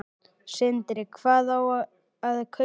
Sindri: Hvað á að kaupa?